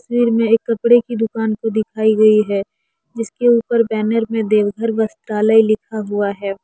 तस्वीर में एक कपड़े की दुकान को दिखाई गई है जिसके ऊपर बैनर में एक देवघर वस्त्रालय लिखा हुआ है।